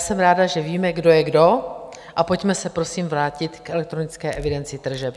Jsem ráda, že víme, kdo je kdo, a pojďme se prosím vrátit k elektronické evidenci tržeb.